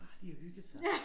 Bare de har hygget sig